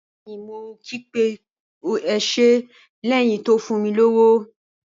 Bẹẹni mo ki pé o ṣe lẹyìn tí o fún mi lowo.